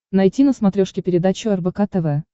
найти на смотрешке передачу рбк тв